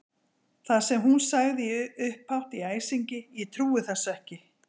Það sem hún sagði upphátt í æsingi: Ég trúi þessu ekki!